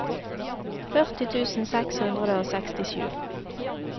førti tusen seks hundre og sekstisju